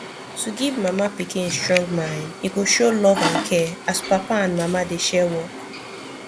to give mama pikin strong mind e go show love and care as papa and mama dey share work